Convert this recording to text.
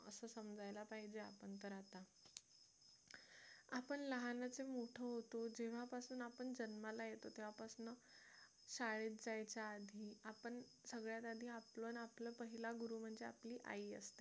समजायला पाहिजे आपण तर आता आपण लहानाचे मोठे होतं जेव्हापासून आपण जन्माला येतो तेव्हापासून शाळेत जायच्या आधी आपण सगळ्यात आधी आपण आपला पहिला गुरु म्हणजे आपली आई असते